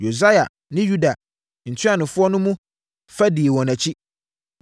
Hosaia ne Yuda ntuanofoɔ no mu fa dii wɔn akyi,